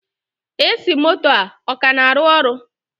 AC moto a, ọ ka na-arụ ọrụ?